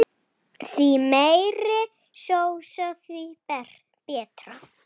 Því meiri sósa því betra.